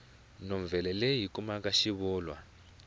novhele leyi hi kuma xivulwa